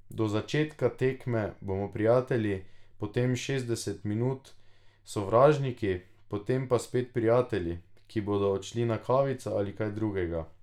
Do začetka tekme bomo prijatelji, potem šestdeset minut sovražniki, potem pa spet prijatelji, ki bodo odšli na kavico ali kaj drugega.